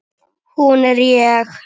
Hún er ég.